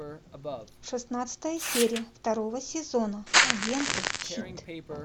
шестнадцатая серия второго сезона агенты щит